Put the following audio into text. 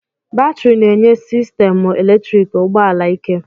Batrị na-enye sistemụ eletriki ụgbọ ala ike